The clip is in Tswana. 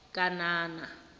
kanana